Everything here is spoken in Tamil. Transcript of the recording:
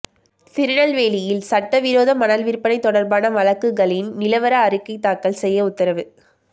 திருநெல்வேலியில் சட்டவிரோத மணல் விற்பனை தொடா்பான வழக்குகளின் நிலவர அறிக்கை தாக்கல் செய்ய உத்தரவு